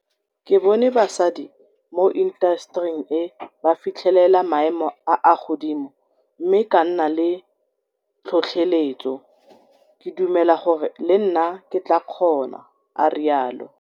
Ke bone basadi mo intasetering e ba fitlhelela maemo a a godimo mme ka nna le tlhotlheletso. Ke dumela gore le nna ke tla kgona, a rialo.